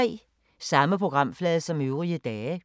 Samme programflade som øvrige dage